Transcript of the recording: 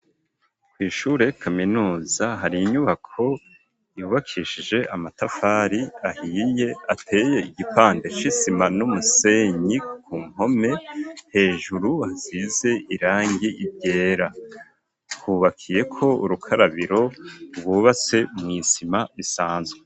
Kw'ishure kaminuza hari inyubako ibubakishije amatafari ahiye ateye igipande gisize isima n'umusenyi ku mpome hejuru azize irangi ryera kubakiyeko urukarabiro rwubase mu isima isanzwe.